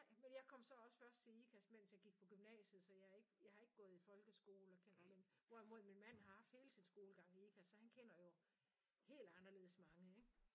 Nej men jeg kom så også først til Ikast mens jeg gik på gymnasiet så jeg ikke jeg har ikke gået i folkeskole og kender ikke hvorimod min mand har haft hele sin skolegang i Ikast så han kender jo helt anderledes mange ikke